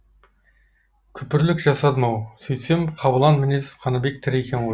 күпірлік жасадым ау сөйтсем қабылан мінез қаныбек тірі екен